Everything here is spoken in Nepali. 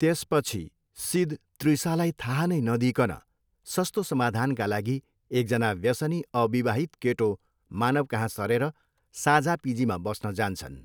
त्यसपछि सिद त्रिसालाई थाहा नै नदिइकन सस्तो समाधानका लागि एकजना व्यसनी अविवाहित केटो मानवकहाँ सरेर साझा पिजीमा बस्न जान्छन्।